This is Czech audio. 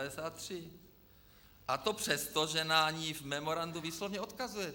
A to přesto, že na ni v memorandu výslovně odkazuje.